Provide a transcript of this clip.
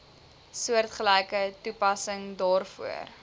soortgelyke toepassing daarvoor